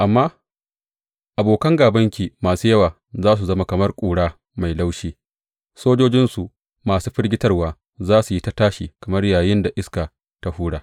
Amma abokan gābanki masu yawa za su zama kamar ƙura mai laushi, sojojinsu masu firgitarwa za su yi ta tashi kamar yayin da iska ta hura.